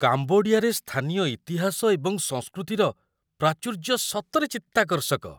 କାମ୍ବୋଡିଆରେ ସ୍ଥାନୀୟ ଇତିହାସ ଏବଂ ସଂସ୍କୃତିର ପ୍ରାଚୁର୍ଯ୍ୟ ସତରେ ଚିତ୍ତାକର୍ଷକ!